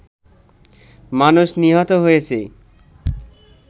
মানুষ নিহত হয়েছে